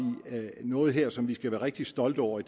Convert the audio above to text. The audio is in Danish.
noget her som vi skal være rigtig stolte over